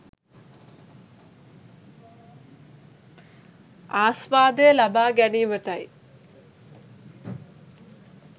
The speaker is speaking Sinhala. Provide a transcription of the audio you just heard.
ආස්වාදය ලබා ගැනීමටයි.